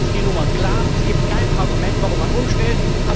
Mittlerweile ist die Nummer klar Es gibt kein Argument, warum man umstellt.